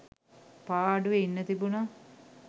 පාඩුවේ ඉන්න තිබුනා.